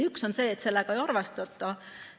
Üks asi on see, et sellega ei arvestata.